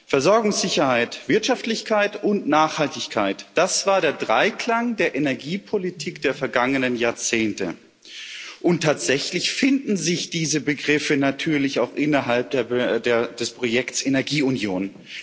Versorgungssicherheit, Wirtschaftlichkeit und Nachhaltigkeit, das war der Dreiklang der Energiepolitik der vergangenen Jahrzehnte, und tatsächlich finden sich diese Begriffe natürlich auch innerhalb des Projekts Energieunion.